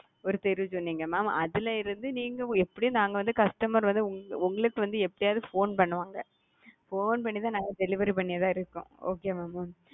ஒரு தெரு சொன்னீங்க mam அதுல இருந்து நீங்க எப்படியும் நாங்க வந்து customer உங்களுக்கு வந்து எப்டியாது போன் பண்ணுவாங்க போன் பண்ணிதான் நாங்க வந்து டெலிவரி பண்ணியதா இருக்கும் okay வா mam.